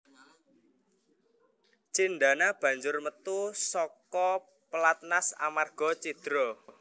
Cindana banjur metu saka pelatnas amarga cidra